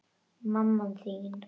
Mamma þín